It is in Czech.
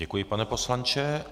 Děkuji, pane poslanče.